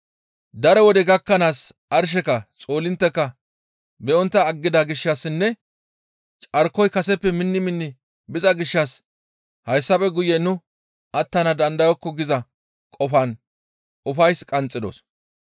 Daro wode gakkanaas arsheka, xoolintteka be7ontta aggida gishshassinne carkoyka kaseppe minni minni biza gishshas hayssafe guye nu attana dandayokko giza qofan ufays qanxxidos.